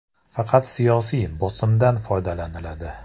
Faqat siyosiy “bosim”dan foydalaniladi.